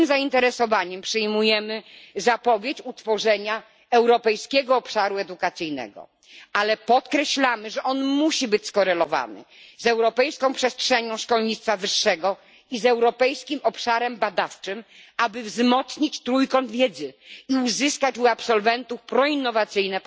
Z dużym zainteresowaniem przyjmujemy zapowiedź utworzenia europejskiego obszaru edukacji, ale podkreślamy, że musi być on skorelowany z europejską przestrzenią szkolnictwa wyższego i z europejskim obszarem badawczym, aby wzmocnić trójkąt wiedzy i uzyskać u absolwentów postawy proinnowacyjne.